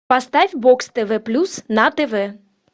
поставь бокс тв плюс на тв